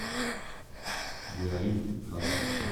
биоритм адрес